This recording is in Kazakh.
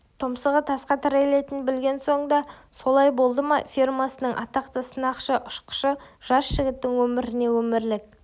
тұмсығы тасқа тірелетінін білген соң да солай болды ма фирмасының атақты сынақшы-ұшқышы жас жігіттің өміріне өмірлік